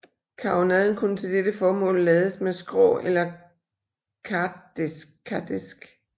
Karronaden kunne til dette formål lades med skrå eller kardæsk